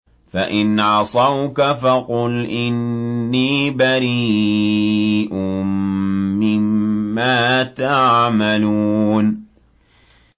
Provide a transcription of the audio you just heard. فَإِنْ عَصَوْكَ فَقُلْ إِنِّي بَرِيءٌ مِّمَّا تَعْمَلُونَ